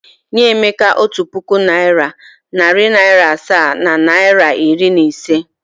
Nye Emeka otu puku naịra, narị naịra asaa na naịra iri na ise!